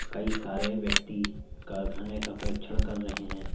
कई सारे व्यक्ति कारखाने का परीक्षण कर रहे हैं।